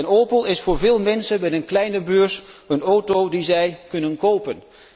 Een Opel is voor veel mensen met een kleine beurs een auto die zij kunnen kopen.